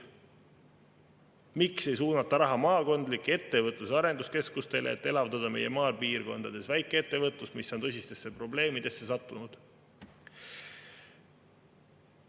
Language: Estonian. Miks ei suunata raha maakondlikele ettevõtlus- ja arenduskeskustele, et elavdada meie maapiirkondades väikeettevõtlust, mis on tõsistesse probleemidesse sattunud?